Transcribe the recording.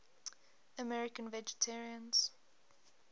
american vegetarians